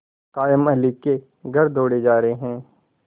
कायमअली के घर दौड़े जा रहे हैं